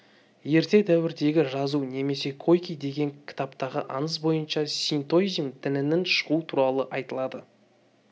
ерте дәуірдегі жазу немесе койки деген кітаптағы аңыз бойынша синтоизм дінінің шығуы туралы айтылады